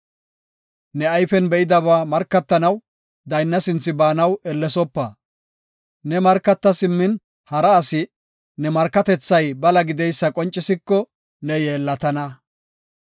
Ne ayfen be7idaba markatanaw daynna sinthe baanaw ellesopa. Ne markata simmin hara asi ne markatethay bala gideysa qoncisiko, ne yeellatana.